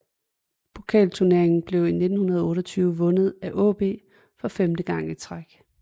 Pokalturneringen blev i 1928 vundet af AaB for femte gang i træk